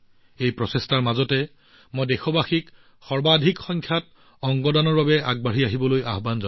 এই প্ৰচেষ্টাৰ মাজতে মই দেশবাসীক অনুৰোধ জনাইছো যে অংগ দাতাসকলে সৰ্বাধিক সংখ্যাত আগবাঢ়ি আহিব লাগে